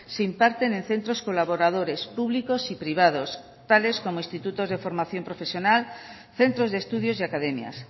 se imparten en centros colaboradores públicos y privados tales como institutos de formación profesional centros de estudios y academias